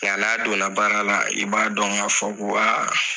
Nga n'a don na baara la i b'a dɔn ka fɔ ko